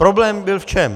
Problém byl v čem?